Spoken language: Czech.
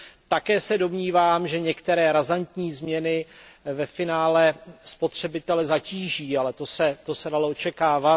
Také se domnívám, že některé razantní změny ve finále spotřebitele zatíží, ale to se dalo očekávat.